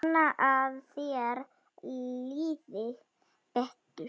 Vona að þér líði betur.